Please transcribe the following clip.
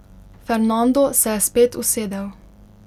Fernando se je spet usedel.